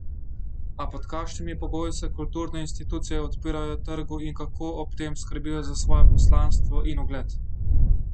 A pod kakšnimi pogoji se kulturne institucije odpirajo trgu in kako ob tem skrbijo za svoja poslanstvo in ugled?